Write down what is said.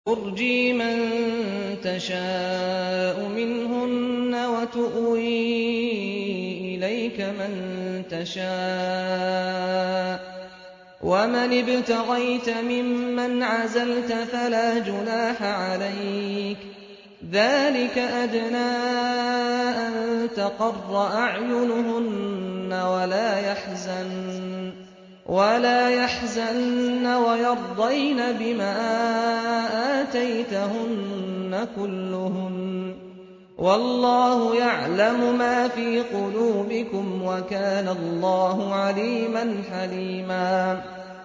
۞ تُرْجِي مَن تَشَاءُ مِنْهُنَّ وَتُؤْوِي إِلَيْكَ مَن تَشَاءُ ۖ وَمَنِ ابْتَغَيْتَ مِمَّنْ عَزَلْتَ فَلَا جُنَاحَ عَلَيْكَ ۚ ذَٰلِكَ أَدْنَىٰ أَن تَقَرَّ أَعْيُنُهُنَّ وَلَا يَحْزَنَّ وَيَرْضَيْنَ بِمَا آتَيْتَهُنَّ كُلُّهُنَّ ۚ وَاللَّهُ يَعْلَمُ مَا فِي قُلُوبِكُمْ ۚ وَكَانَ اللَّهُ عَلِيمًا حَلِيمًا